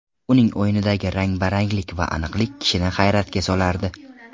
Uning o‘yinidagi rang baranglik va aniqlik kishini hayratga solardi.